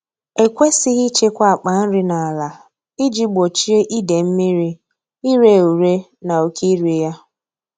Ekwesịghị ịchekwa akpa nri n’ala iji gbochie ide mmiri, ire ure na oke iri ya.